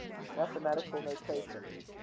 mathematical notation